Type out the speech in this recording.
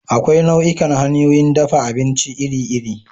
Akwai nau'ikan hanyoyin dafa abinci iri-iri.